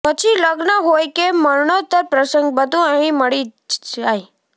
પછી લગ્ન હોય કે મરણોતર પ્રસંગ બધું અહીં મળી જ જાય